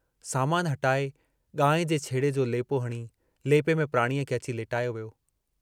सामान हटाए गांइ जे छेणे जो लेपो हणी, लेपे में प्राणीअ खे अची लेटायो वियो।